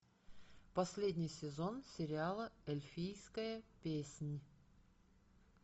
последний сезон сериала эльфийская песнь